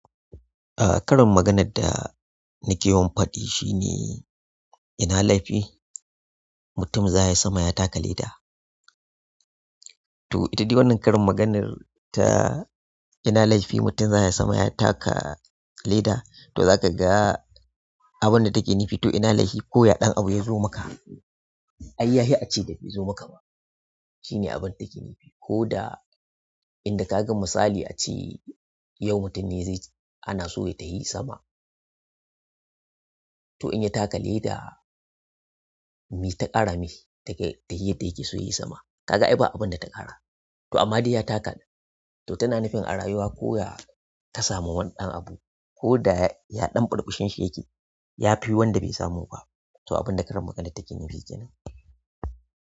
A karin maganar da nake yawan faɗi shine ina laifi mutum zaya sama ya taka leda. To ita dai wannan karin maganar ta ina laifi mutum zaya sama ya taka leda, to zakaga abunda take nufi to ina laifi koya ɗan abu yazo maka, ayyahi ace da baizo maka ba. Shine abunda take nufi. Koda inda kaga misali ace. Yau mutum ne zai anaso ya tahi sama, to inya taka leda meta ƙara mishi daga tahiyar da yake so yayi sama? Kaga ai ba abunda ta ƙara. To amma dai ya taka, to tana nufin a rayuwa koya ka samu wani ɗan abu koda ya ɗan burbushi yake, yafi wanda bai samu ba. To abunda karin maganar take nufi kenan.